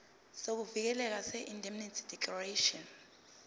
sokuvikeleka seindemnity declaration